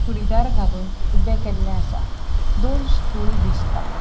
चूड़ीदार घालुन ऊबे केल्ले आसा. दोन स्टूल दिसता.